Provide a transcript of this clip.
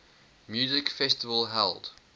music festival held